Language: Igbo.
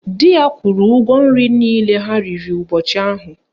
Dị ya kwuru ụgwọ nri niile ha riri ụbọchị ahụ